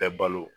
Bɛɛ balo